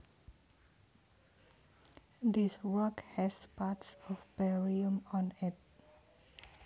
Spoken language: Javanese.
This rock has parts of barium on it